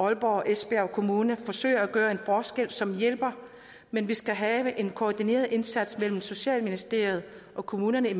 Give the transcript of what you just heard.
aalborg og esbjerg kommuner forsøger at gøre en forskel som hjælper men vi skal have en koordineret indsats mellem socialministeriet og kommunerne